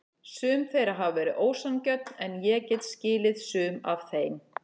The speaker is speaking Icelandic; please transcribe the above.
Sum þeirra hafa verið ósanngjörn en ég get skilið sum af þeim.